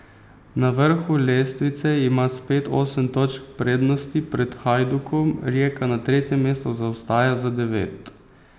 Na vrhu lestvice ima spet osem točk prednosti pred Hajdukom, Rijeka na tretjem mestu zaostaja za devet.